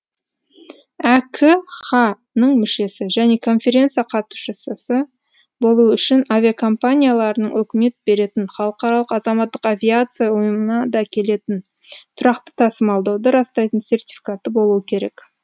әкха ның мүшесі және конференция қатысушысы болуы үшін авиакомпанияларының өкімет беретін халықаралық азаматтық авиация ұйымына да келетін тұрақты тасымалдауды растайтын сертификаты болуы керек